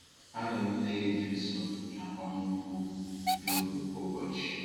Anụrụ m nne gị dị nsọ na-agwa m okwu n’obi kwa ụbọchị.